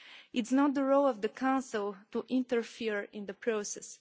It is not the role of the Council to interfere in the process.